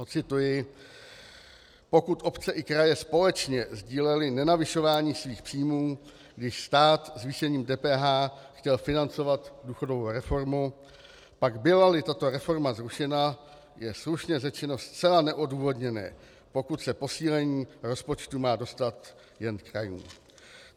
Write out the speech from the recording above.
Ocituji: Pokud obce i kraje společně sdílely nenavyšování svých příjmů, když stát zvýšením DPH chtěl financovat důchodovou reformu, pak byla-li tato reforma zrušena, je slušně řečeno zcela neodůvodněné, pokud se posílení rozpočtu má dostat jen krajům.